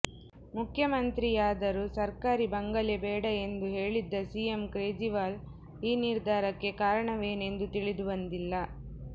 ಮುಖ್ಯಮಂತ್ರಿಯಾದರೂ ಸರ್ಕಾರಿ ಬಂಗಲೆ ಬೇಡ ಎಂದು ಹೇಳಿದ್ದ ಸಿಎಂ ಕೇಜ್ರಿವಾಲ್ ಈ ನಿರ್ಧಾರಕ್ಕೆ ಕಾರಣವೇನೆಂದು ತಿಳಿದು ಬಂದಿಲ್ಲ